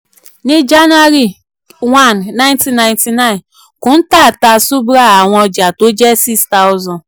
ní jcs] anuary one nineteen ninety-nine kuntal ta subhra àwọn ọjà tó jẹ́ six thousand.